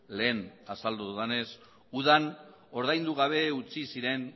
lehen azaldu dudanez udan ordaindu gabe utzi ziren